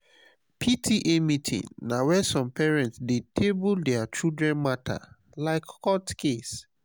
pta meeting na where some parents dey table their children matter like court case.